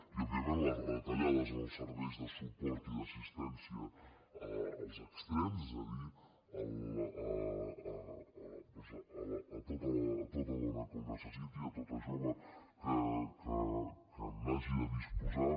i òbviament les retallades en els serveis de suport i d’assistència als extrems és a dir a tota dona que ho necessiti a tota jove que n’hagi de disposar